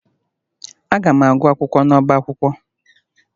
Aga m agụ akwụkwọ n'ọba akwụkwọ